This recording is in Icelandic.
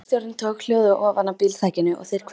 Bílstjórinn tók hjólið ofanaf bílþakinu og þeir kvöddust.